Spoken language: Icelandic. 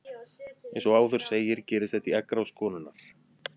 Eins og áður segir gerist þetta í eggrás konunnar.